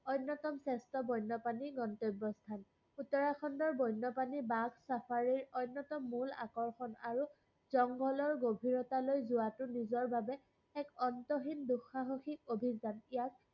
অন্যতম শ্ৰেষ্ঠ বন্যপ্ৰাণী গন্তব্যস্থান। উত্তৰাখণ্ডৰ বন্যপ্ৰাণী বাঘ safari ৰ অন্যতম মূল আকৰ্ষণ আৰু জংঘলৰ গভীৰতালৈ যোৱাটো নিজৰবাবে এক অন্তহীন দুসাহসিক অভিযান। ইয়াক